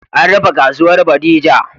An rufe kasuwan bodija